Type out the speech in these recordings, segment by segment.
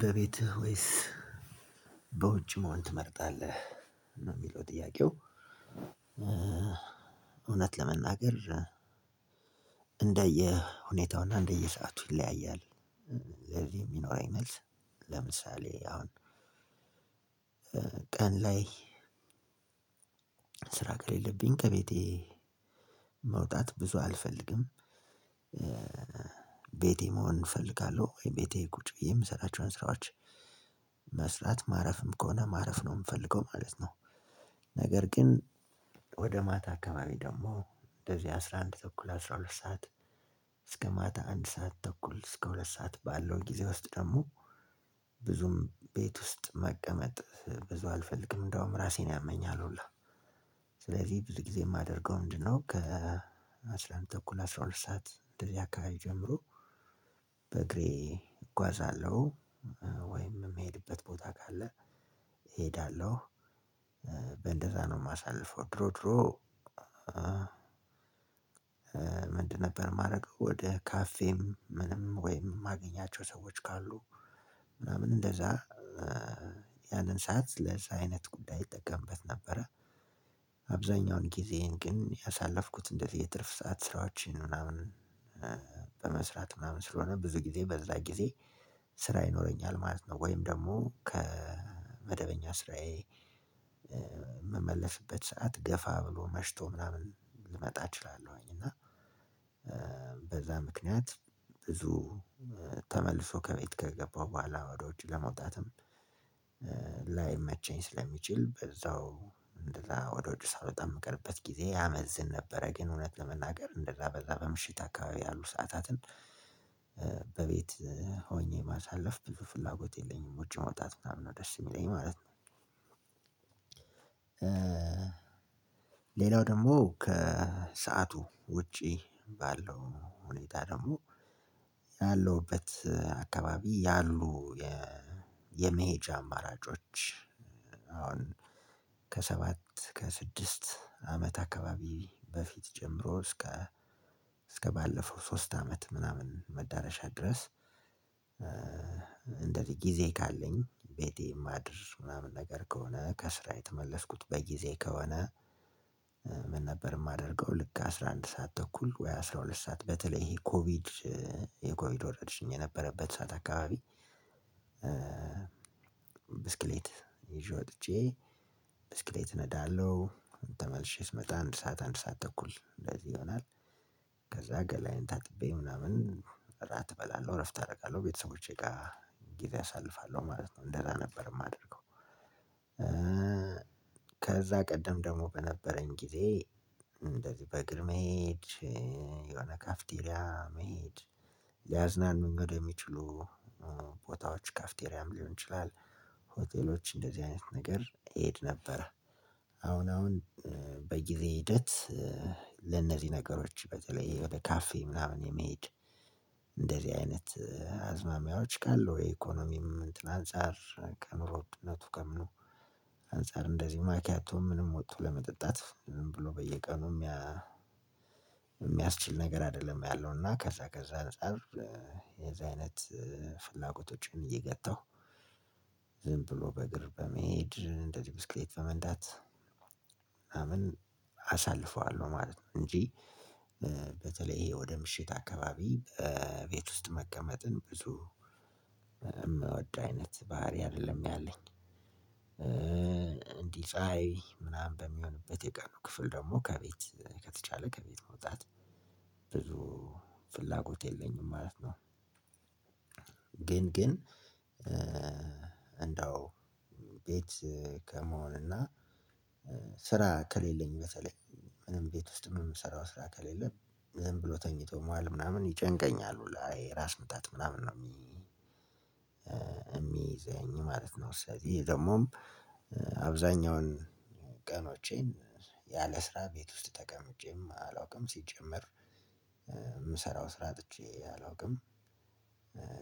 በቤትህ ወይስ በውጭ መሆን ትመርጣለህ ነው የሚለው ጥያቄው? እውነት ለመናገር እንደየ ሁኔታውና እንደየ ሰዓቱ ይለያያል። ለዚህ የሚኖረኝ መልስ። ለምሳሌ አሁን ቀን ላይ ስራ ከሌለብኝ ከቤቴ መውጣት ብዙ አልፈልግም። ቤቴ መሆን እፈልጋለሁ ወይም ቤቴ ቁጭ ብዬ የምሰራቸውን ስራዎች መስራት ማረፍም ከሆነ ማረፍ ነው የምፈልገው ማለት ነው። ነገር ግን ወደ ማታ አካባቢ ደግሞ እንደዚህ አስራ አንድ ተኩል አስራ ሁለት ሰዓት እስከ ማታ አንድ ሰዓት ተኩል እስከ ሁለት ሰዓት ባለው ጊዜ ውስጥ ደግሞ ብዙም ቤት ውስጥ መቀመጥ ብዙ አልፈልግም እንደውም ራሴን ያመኛል። ሁላ ስለዚህ ብዙ ጊዜ የማደርገው ምንድነው ከ አንድ ተኩል አስራ ሁለት ሰዓት እንደዚህ አካባቢ ጀምሮ በእግሬ እጓዛለሁ። ወይም የምሄድበት ቦታ ካለ እሄዳለሁ። እንደዛ ነው የማሳልፈው ድሮ ድሮ? ምንድን ነበር የማረገው ወደ ካፌም ምንም ወይም የማገኛቸው ሰዎች ካሉ ምናምን እንደዛ ያንን ሰዓት ለዛ አይነት ጉዳይ እጠቀምበት ነበረ። አብዛኛውን ጊዜዬን ግን ያሳለፍኩት እንደዚህ የትርፍ ሰዓት ስራዎችን ምናምን በመስራት ምናምን ስለሆነ ብዙ ጊዜ በዛ ጊዜ ስራ ይኖረኛል ማለት ነው። ወይም ደግሞ ከመደበኛ ስራዬ የምመልስበት ሰዓት ገፋ ብሎ መሽቶ ምናምን ልመጣ እችላለሁኝ። እና በዛ ምክንያት ብዙ ተመልሶ ከቤት ከገባሁ በኋላ ወደ ውጪ ለመውጣትም ላይመቸኝ ስለሚችል በዛው እንደዛ ወደ ውጭ ሳልወጣ የምቀርበት ጊዜ ያመዝን ነበረ። ግን እውነት ለመናገር እንደዛ በዛ በምሽት አካባቢ ያሉ ሰዓታትን በቤት ሆኜ ማሳለፍ ብዙ ፍላጎት የለኝም ውጪ መውጣት ምናምን ነው ደስ የሚለኝ ማለት ነው። ሌላው ደግሞ ከሰአቱ ውጪ ባለው ሁኔታ ደግሞ ያለውበት አካባቢ ያሉ የመሄጃ አማራጮች አሁን ከሰባት ከስድስት አመት አካባቢ በፊት ጀምሮ እስከ እስከባለፈው ሶስት አመት ምናምን መዳረሻ ድረስ እንደዚህ ጊዜ ካለኝ ቤቴ ማድር ምናምን ነገር ከሆነ ከስራ የተመለስኩት በጊዜ ከሆነ። ምን ነበር የማደርገው ልክ አስራ አንድ ሰዓት ተኩል ወይ አስራ ሁለት ሰዓት በተለይ ኮቪድ የኮቪድ ወረርሽኝ የነበረበት ሰዓት አካባቢ። ብስክሌት ይዤ ወጥቼ ብስክሌት እነዳለሁ ተመልሼ ስመጣ አንድ ሰዓት አንድ ሰዓት ተኩል እንደዚህ ይሆናል። ከዛ ገላዬን ታጥቤ ምናምን እራት እበላለሁ እረፍት አደርጋለሁ ቤተሰቦቼ ጋር ጊዜ አሳልፋለሁ ማለት ነው። እንደዛ ነበር የማደርገው። ከዛ ቀደም ደግሞ በነበረኝ ጊዜ እንደዚህ በእግር መሄድ የሆነ ካፍቴሪያ መሄድ ሊያዝናኑን ወደሚችሉ ቦታዎች ካፍቴሪያም ሊሆን ይችላል። ሆቴሎች እንደዚህ አይነት ነገር እሄድ ነበረ። አሁን አሁን በጊዜ ሂደት ለነዚህ ነገሮች በተለይ ወደ ካፌ ምናምን የመሄድ እንደዚህ አይነት አዝማሚያዎች ካለው የኢኮኖሚም አንፃር ከኑሮ ውድነቱ ከምኑ አንፃር እንደዚህ ማኪያቶ ምንም ወጥቶ ለመጠጣት ብሎ በየቀኑ የሚያስችል ነገር አይደለም። ያለው እና ከዛ ከዛ አንፃር የዚህ አይነት ፍላጎቶችን እየገታሁ ዝም ብሎ በእግር በመሄድ እንዴ ብስክሌት በመንዳት ምናምን አሳልፈዋለሁ ማለት ነው። እንጂ በተለይ ይሄ ወደ ምሽት አካባቢ ቤት ውስጥ መቀመጥን ብዙ የምወድ አይነት ባህሪ አይደለም ያለኝ። እንዲህ ፀሀይ ምናምን በሚሆንበት የቀኑ ክፍል ደግሞ ከቤት ከተቻለ ከቤት መውጣት ብዙ ፍላጎት የለኝም ማለት ነው። ግን ግን እንደው ቤት ከመሆን እና ስራ ከሌለኝ በተለይ ምንም ቤት ውስጥ የምሰራው ስራ ከሌለ ዝም ብሎ ተኝቶ መዋል ምናምን ይጨንቀኛል ሁላ የራስ ምታት ምናምን ነው። የሚይዘኝ ማለት ነው ስለዚህ ይሄ ደግሞ አብዛኛውን ቀኖቼን ያለ ስራ ቤት ውስጥ ተቀምጬም አላውቅም። ሲጀመር የምሰራው ስራ አጥቼ አላውቅም።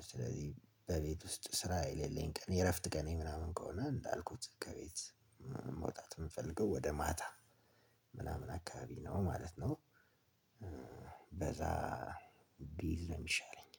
ስለዚህ በቤት ውስጥ ስራ የሌለኝ ቀን የእረፍት ቀን ምናምን ከሆነ እንዳልኩት ከቤት መውጣት የምፈልገው ወደ ማታ ምናምን አካባቢ ነው ማለት ነው። በዛ ብይዝ ነው የሚሻለኝ።